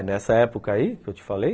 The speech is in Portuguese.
É, nessa época aí, que eu te falei,